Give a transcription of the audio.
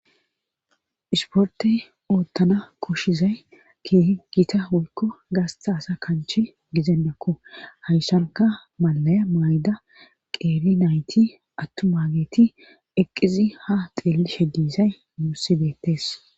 isporte oottana koshizay keehi gita woykko gaastaasa kanchi gizendakko hayssanka malaya mayda qeeri nayti attumaageti eqqizi ha xeellishe diizay nuussi beettees